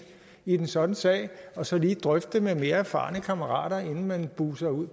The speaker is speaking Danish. i en sådan sag og så lige drøfte det med mere erfarne kammerater inden man buser ud